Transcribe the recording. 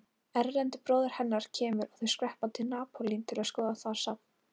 Erlendur bróðir hennar kemur og þau skreppa til Napólí til að skoða þar safn.